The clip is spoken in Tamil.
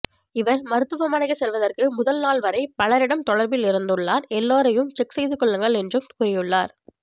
இவர் மருத்துவமனை செல்லுவதற்கு முதல் நாள் வரை பலரிடம் தொடர்பில் இருந்துள்ளார் எல்லாரையும் செக் செய்து கொள்ளுங்க என்றும் கூறியுள்ளார்